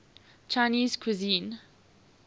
chinese cuisine